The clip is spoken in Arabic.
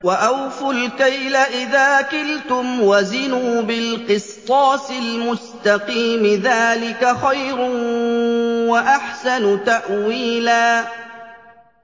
وَأَوْفُوا الْكَيْلَ إِذَا كِلْتُمْ وَزِنُوا بِالْقِسْطَاسِ الْمُسْتَقِيمِ ۚ ذَٰلِكَ خَيْرٌ وَأَحْسَنُ تَأْوِيلًا